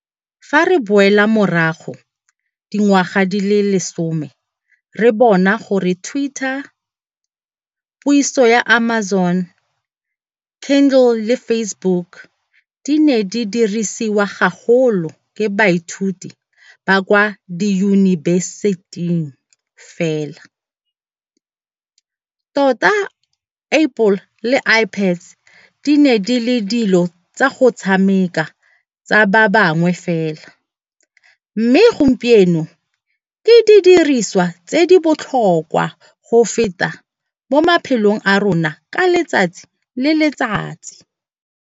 Fa re boela morago dingwaga di le lesome re bona gore twitter, puiso ya Amazon Kindle le Facebook di ne di dirisiwa gagolo ke baithuti ba kwa diyunibeseting fela tota Apple le iPads di ne di le dilo tsa go tshameka tsa ba bangwe fela mme gompieno ke didiriswa tse di botlhokwa go feta mo maphelong a rona ka letsatsi le letsatsi.